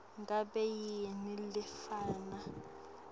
ngabe yini lefana